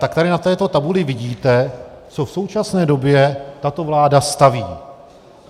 Tady tady na této tabuli vidíte, co v současné době tato vláda staví.